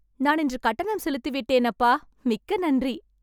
நான் இன்று கட்டணம் செலுத்திவிட்டேன், அப்பா, மிக்க நன்றி